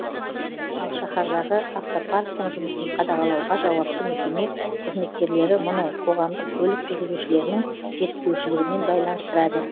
ал шаһардағы автопарктің жұмысын қадағалауға жауапты мекеме қызметкерлері мұны қоғамдық көлік жүргізушілерінің жетіспеушілігімен байланыстырады